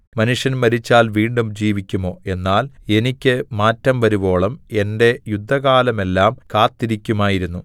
മനുഷ്യൻ മരിച്ചാൽ വീണ്ടും ജീവിക്കുമോ എന്നാൽ എനിക്ക് മാറ്റം വരുവോളം എന്റെ യുദ്ധകാലമെല്ലാം കാത്തിരിക്കാമായിരുന്നു